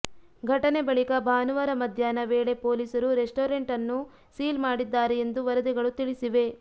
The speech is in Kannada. ಘಟನೆ ಬಳಿಕ ಭಾನುವಾರ ಮಧ್ಯಾಹ್ನ ವೇಳೆ ಪೊಲೀಸರು ರೆಸ್ಟೋರೆಂಟ್ ನ್ನು ಸೀಲ್ ಮಾಡಿದ್ದಾರೆ ಎಂದು ವರದಿಗಳು ತಿಳಿಸಿವೆ